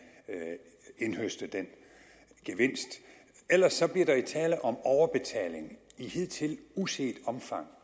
indhøste den gevinst ellers bliver der jo tale om overbetaling i hidtil uset omfang